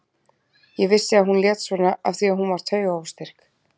Ég vissi að hún lét svona af því að hún var taugaóstyrk.